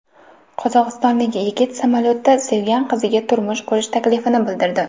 Qozog‘istonlik yigit samolyotda sevgan qiziga turmush qurish taklifini bildirdi.